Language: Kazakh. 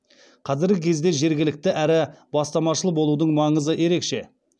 қазіргі кезде жіргілікті әрі бастамашыл болудың маңызы ерекше